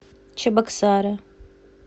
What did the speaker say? чебоксары